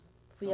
Fui a